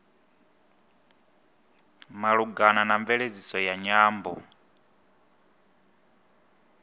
malugana na mveledziso ya nyambo